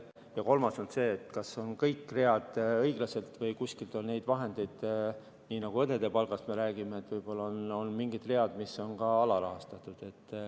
Ja kolmas on see, et nii nagu me räägime õdede palgast, on võib-olla mingid read, mis on ka alarahastatud.